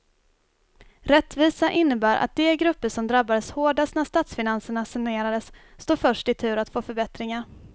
Rättvisa innebär att de grupper som drabbades hårdast när statsfinanserna sanerades står först i tur att få förbättringar.